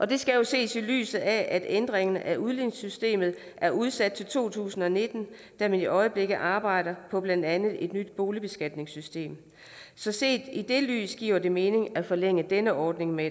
det skal jo ses i lyset af at ændringen af udligningssystemet er udsat til to tusind og nitten da man i øjeblikket arbejder på blandt andet et nyt boligbeskatningssystem så set i det lys giver det mening at forlænge denne ordning med